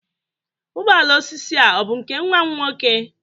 Ụgbọ ala osisi a ọ bụ nke nwa m nwoke?